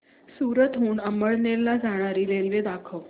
सूरत हून अमळनेर ला जाणारी रेल्वे दाखव